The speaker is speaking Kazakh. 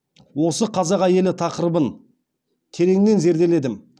осы қазақ әйелі тақырыбын тереңнен зерделедім